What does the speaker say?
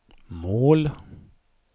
mål